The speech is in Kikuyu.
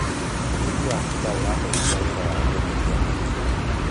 ũrĩithi wa bunda urateithia wira wa gũtheria mirigo